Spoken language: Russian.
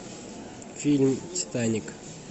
фильм титаник